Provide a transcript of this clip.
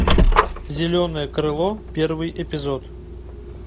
зеленое крыло первый эпизод